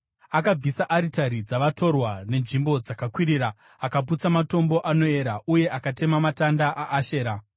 Akabvisa aritari dzavatorwa nenzvimbo dzakakwirira, akaputsa matombo anoera uye akatema matanda aAshera.